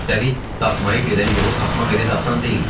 Üstəlik daxmaya gedən yolu tapmaq elə də asan deyildi.